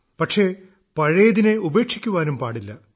പക്ഷേ പഴയതിനെ ഉപേക്ഷിക്കാനും പാടില്ല